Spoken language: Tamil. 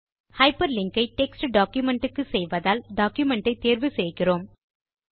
ஹைப்பர்லிங்க் ஐ டெக்ஸ்ட் டாக்குமென்ட் க்கு செய்வதால் டாக்குமென்ட் ஐ தேர்வு செய்கிறோம்